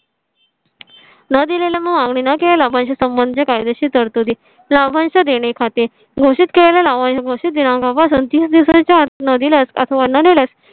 नं दिलेल्या मागणी म्हणजे संबंधी कायदेशीर तरतुदी लाभांश च्या देणे खाते घोषित केला आहे, घोषित दिनांका पासून तीस दिवसांच्या आत न दिल्यास